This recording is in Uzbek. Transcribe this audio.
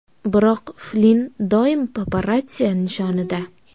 Biroq Flinn doim paparatsiya nishonida.